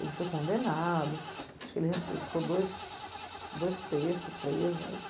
Ele foi condenado, acho que ele res ele ficou dois dois terços preso.